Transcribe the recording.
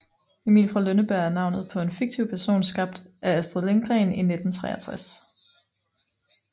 Emil fra Lønneberg er navnet på en fiktiv person skabt af Astrid Lindgren i 1963